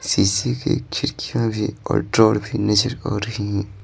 शीशे की खिड़कियां भी और ड्रोर भी नजर आ रही हैं।